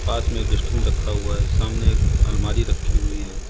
पास में एक डस्टबिन रखा हुआ है सामने एक अलमारी रखी हुई है।